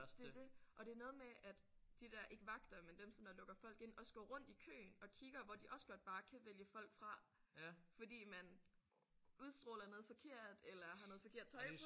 Det er det. Og det er noget med at de der ikke vagter men dem som der lukker folk ind også går rundt i køen og kigger hvor de også godt bare kan vælge folk fra fordi man udstråler noget forkert eller har noget forkert tøj på